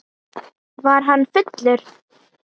Var hann fullur?